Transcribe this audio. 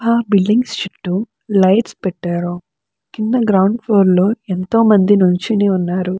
ఆ బిల్డింగ్స్ చుట్టూ లైట్స్ పెట్టారు. కింద గ్రౌండ్ ఫ్లోర్లో ఎంతోమంది నుంచోని ఉన్నారు.